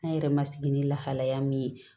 An yɛrɛ ma sigi ni lahalaya min ye